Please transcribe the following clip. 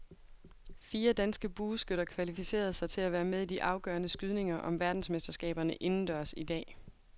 Fire danske bueskytter kvalificerede sig til at være med i de afgørende skydninger om verdensmesterskaberne indendørs i dag.